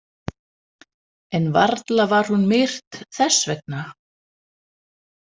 En varla var hún myrt þess vegna.